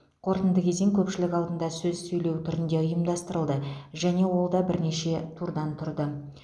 қорытынды кезең көпшілік алдында сөз сөйлеу түрінде ұйымдастырылды және ол да бірнеше турдан тұрды